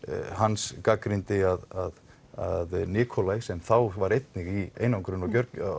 hans gagnrýndi að að Nikolaj sem þá var einnig í einangrun og